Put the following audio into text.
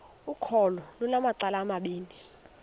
ukholo lunamacala amabini